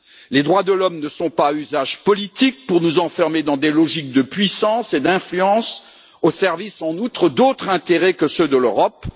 Les droits de l'homme ne sont pas à usage politique, pour nous enfermer dans des logiques de puissance et d'influence, au service, en outre, d'autres intérêts que ceux de l'Europe.